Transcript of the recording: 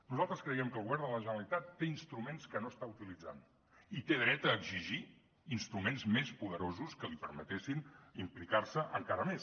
nosaltres creiem que el govern de la generalitat té instruments que no està utilitzant i té dret a exigir instruments més poderosos que li permetin implicar se encara més